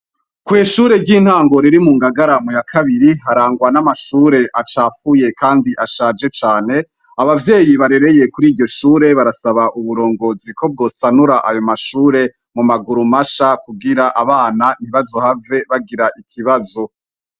Kwishure ry'intango riri mungangara yakabiri harangwa n'amashure acafuye kandi ashaje cane, abavyeyi barereye kwiryoshure barasaba uburongozi ko bwosanura ayo mashure mumaguru masha kugiran abana ntibazohave bagira ikibazo.